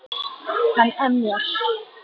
Hann emjar.